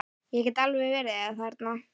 Ég get alveg verið þerna.